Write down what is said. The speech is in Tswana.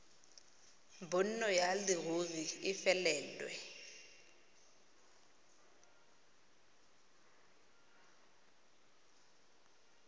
bonno ya leruri e felelwe